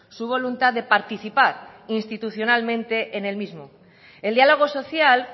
su voluntad de participar institucionalmente en el mismo el diálogo social